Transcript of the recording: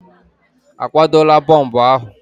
A kwadola bọmbụ ahụ?